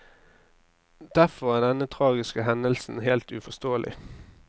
Derfor er denne tragiske hendelsen helt uforståelig.